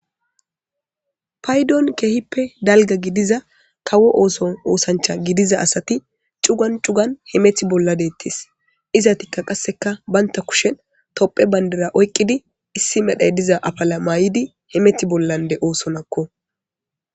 Paydon keehippe dalga gidiza kawo ooson oosancha gidiza asati cugan cugan himeth bolla deettis izatikka qasseka baynta kushen topphe bayndera oykqidi issi medhay diza afala mayidi himeti bollande oosonakko.